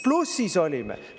Plussis olime!